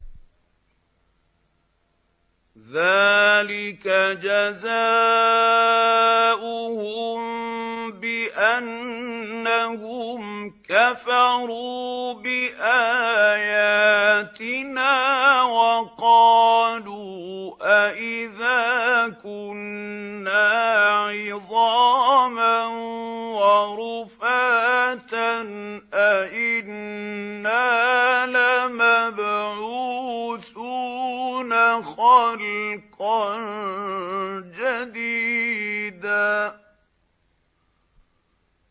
ذَٰلِكَ جَزَاؤُهُم بِأَنَّهُمْ كَفَرُوا بِآيَاتِنَا وَقَالُوا أَإِذَا كُنَّا عِظَامًا وَرُفَاتًا أَإِنَّا لَمَبْعُوثُونَ خَلْقًا جَدِيدًا